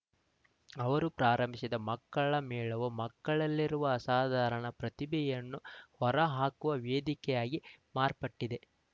ಅವರು ಆರಂಭಿಸಿದ ಮಕ್ಕಳ ಮೇಳವು ಮಕ್ಕಳಲ್ಲಿರುವ ಅಸಾಧಾರಣ ಪ್ರತಿಭೆಯನ್ನು ಹೊರಹಾಕುವ ವೇದಿಕೆಯಾಗಿ ಮಾರ್ಪಟ್ಟಿದೆ